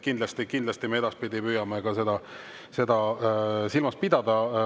Kindlasti me edaspidi püüame seda silmas pidada.